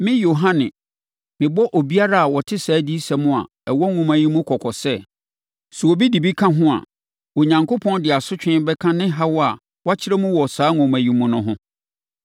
Me, Yohane, mebɔ obiara a ɔte saa adiyisɛm a ɛwɔ nwoma yi mu kɔkɔ sɛ: Sɛ obi de bi ka ho a, Onyankopɔn de asotweɛ bɛka ne haw a wakyerɛ mu wɔ saa nwoma yi mu no ho.